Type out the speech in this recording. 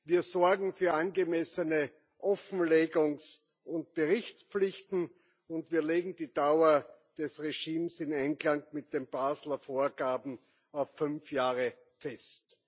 wir sorgen für angemessene Offenlegungs und Berichtspflichten, und wir legen die Dauer des Regimes in Einklang mit den Basler Vorgaben auf fünf Jahre fest.